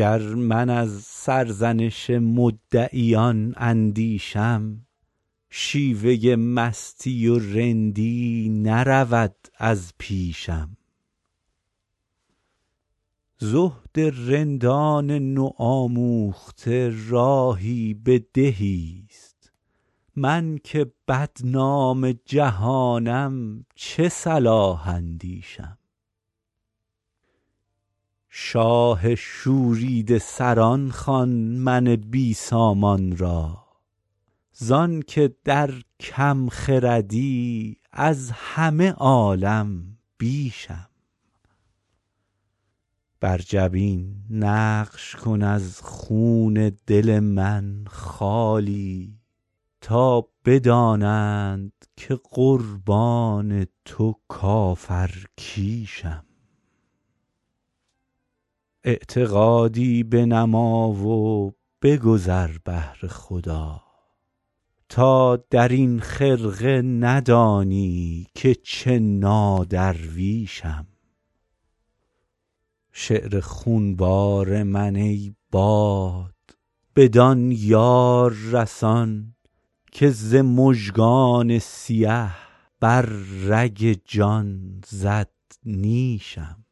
گر من از سرزنش مدعیان اندیشم شیوه مستی و رندی نرود از پیشم زهد رندان نوآموخته راهی به دهیست من که بدنام جهانم چه صلاح اندیشم شاه شوریده سران خوان من بی سامان را زان که در کم خردی از همه عالم بیشم بر جبین نقش کن از خون دل من خالی تا بدانند که قربان تو کافرکیشم اعتقادی بنما و بگذر بهر خدا تا در این خرقه ندانی که چه نادرویشم شعر خونبار من ای باد بدان یار رسان که ز مژگان سیه بر رگ جان زد نیشم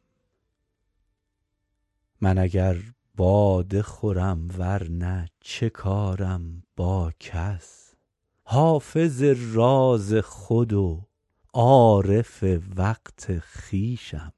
من اگر باده خورم ور نه چه کارم با کس حافظ راز خود و عارف وقت خویشم